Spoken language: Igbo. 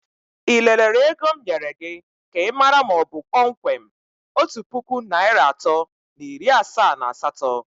Ị lelere ego m nyere gị ka ịmara ma ọ bụ kpọmkwem otu puku naịra atọ na iri asaa na asatọ?